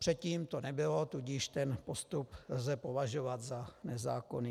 Předtím to nebylo, tudíž ten postup lze považovat za nezákonný.